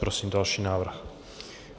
Prosím další návrh.